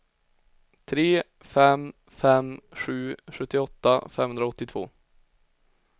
tre fem fem sju sjuttioåtta femhundraåttiotvå